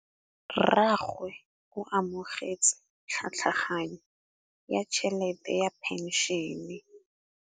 Rragwe o amogetse tlhatlhaganyô ya tšhelête ya phenšene.